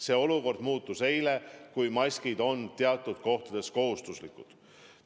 See olukord muutus eile, maskid on nüüd teatud kohtades kohustuslikud.